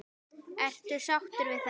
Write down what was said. Ertu sáttur við það?